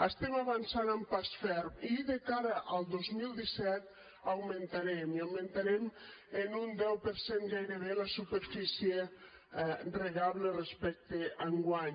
estem avançant amb pas ferm i de cara al dos mil disset augmentarem i augmentarem en un deu per cent gairebé la superfície regable respecte a enguany